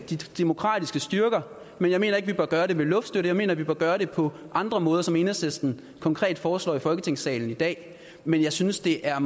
demokratiske styrker men jeg mener ikke vi bør gøre det ved luftstøtte jeg mener vi bør gøre det på andre måder som enhedslisten konkret foreslår i folketingssalen i dag men jeg synes det er